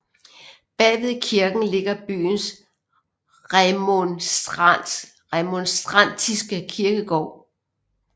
Bagved kirken ligger byens remonstrantiske kirkegård